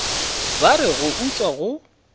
ba re go utswa go